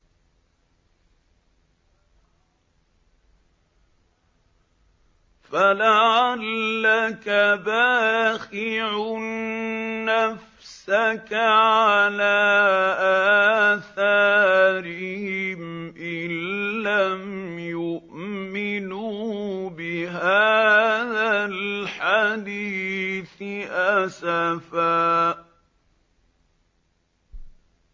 فَلَعَلَّكَ بَاخِعٌ نَّفْسَكَ عَلَىٰ آثَارِهِمْ إِن لَّمْ يُؤْمِنُوا بِهَٰذَا الْحَدِيثِ أَسَفًا